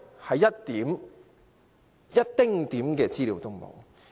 是一丁點資料也沒有。